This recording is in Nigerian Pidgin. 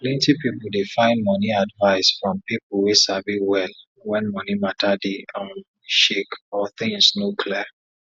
plenty people dey find money advice from people wey sabi well when money matter dey um shake or things no clear